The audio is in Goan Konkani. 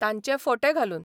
तांचे फोटे घालून.